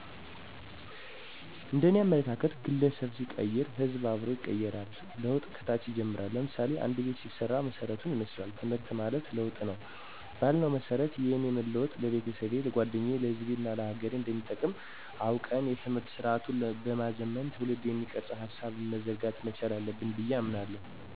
እንደኔ አመለካከት ግለሠብ ሲቀየር ሕዝብ አብሮ ይቀየራል። ለውጥ ከታች ይጀምራል ለምሳሌ፦ አንድ ቤት ሲሰራ መሠረቱን ይመስላል። ትምህርት ማለት ለውጥ ነው ባልነው መሠረት የእኔ መለወጥ ለቤተሠቤ፣ ለጓደኛየ፣ ለሕዝቤናለሀገሬ አንደሚጠቅም አውቀን የትምህርት ስርአቱን በማዘመን ትውልድን የሚቀርፅ ሀሳብ መዘርጋት መቻል አለብን ብየ አምናለሁ።